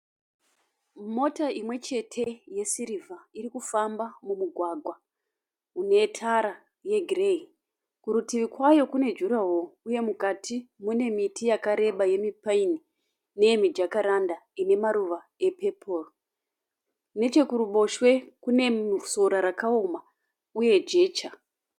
Mota imwechete ye sirivha irikufamba mumugwagwa une tara ye gireyi. Kurutivi kwayo kune juraworo uye mukati mune yakareba yemu paini uye mijakaranda ine maruva e peporo. nechekuruboswe kune sora rakaoma uye jecha.